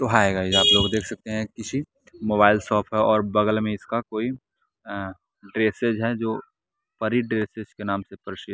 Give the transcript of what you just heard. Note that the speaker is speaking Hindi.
तो हाय गाइस आप देख सकते हैं किसी मोबाइल शॉप है और बगल में इसका कोई अं ड्रेसेज है जो परी ड्रेसेज के नाम से प्रसिद्ध।